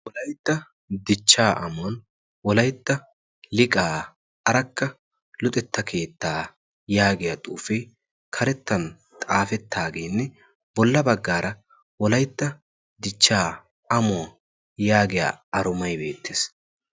Wolaytta dichchaa amuwan wolaytta liqaa arakka luxetta keettaa yaagiya xuufe karettan xaafettaageenne bolla baggaara wolaitta dichchaa amuwaa yaagiya aromai beettees.